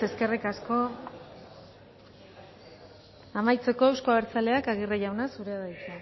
eskerrik asko amaitzeko euzko abertzaleak aguirre jauna zurea da hitza